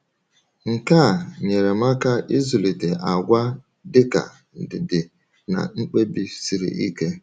Nke a nyere m aka ịzụlite àgwà dịka ndidi na mkpebi siri ike.